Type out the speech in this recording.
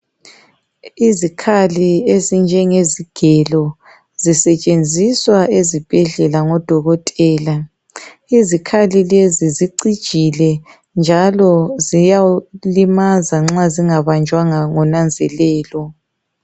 izikhali ezinjengezigelo zisetsheziswa ezibhedlela ngo dokotela izikhali lezi zicijile njalo ziyakulimaza nxa zingabanjwanga ngo nanzelelo